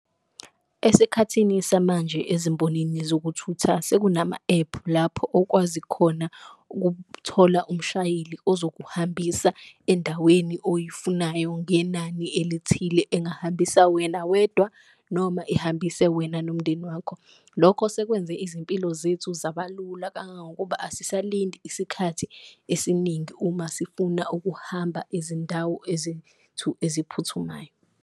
Esikhathini samanje ezimbonini zokuthutha sekunama-ephu lapho okwazi khona ukuthola umshayeli ozokuhambisa endaweni oyifunayo ngenani elithile, engahambisana wena wedwa noma ehambise wena nomndeni wakho. Lokho sekwenze izimpilo zethu zabalula kangangokuba asisalindi isikhathi esiningi uma sifuna ukuhamba ezindawo eziphuthumayo.